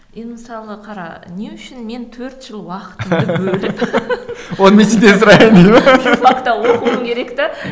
енді мысалы қара не үшін мен төрт жыл уақытымды оқуым керек те